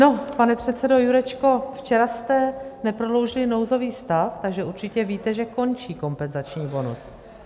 No, pane předsedo Jurečko, včera jste neprodloužili nouzový stav, tak určitě víte, že končí kompenzační bonus.